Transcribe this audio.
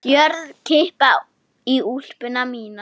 Hörð kippa í úlpuna mína.